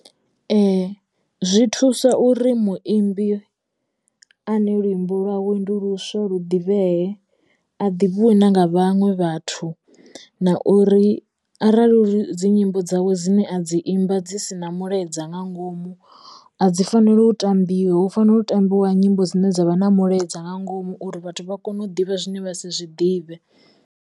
zwi thusa uri muimbi ane luimbo lwawe ndi luswa lu ḓivhee a ḓivhiwe na nga vhaṅwe vhathu na uri arali wa dzi nyimbo dzawe dzine a dzi imba dzi sina mulaedza nga ngomu a dzi fanela u tambiwa u fanela u tambiwa nyimbo dzine dza vha na mulaedza nga ngomu uri vhathu vha kone u ḓivha zwine vha si zwi ḓivhe.